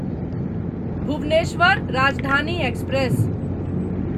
Bhubaneswar Rajdhani express